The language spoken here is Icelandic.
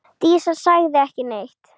Dísa sagði ekki neitt.